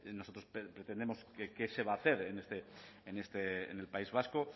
nosotros pretendemos qué se va a hacer en el país vasco